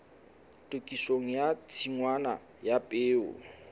tokisong ya tshingwana ya peo